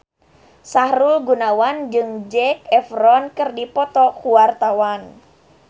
Sahrul Gunawan jeung Zac Efron keur dipoto ku wartawan